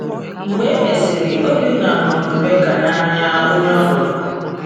Mgbe e mesịrị, Obinna hụrụ Rebeka n’anya, onye ọ lụrụ.